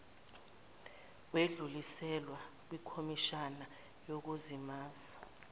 wedluliselwa kwikhomishani yokuzimazisa